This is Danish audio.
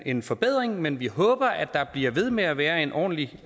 en forbedring men vi håber at der bliver ved med at være en ordentlig